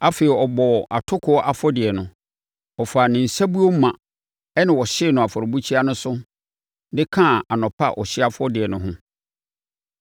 Afei, ɔbɔɔ atokoɔ afɔdeɛ no, ɔfaa ne nsabuo ma ɛnna ɔhyee no afɔrebukyia no so de kaa anɔpa ɔhyeɛ afɔrebɔ no ho.